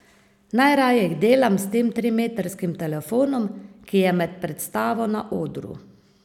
Najraje jih delam s tem trimetrskim telefonom, ki je med predstavo na odru.